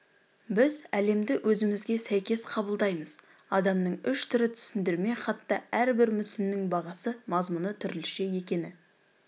біз әлемді өзімізге сәйкес қабылдаймыз адамның үш түрі түсіндірме хатта әрбір мүсіннің бағасы мазмұны түрліше екені